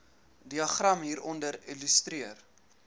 diagram hieronder illustreer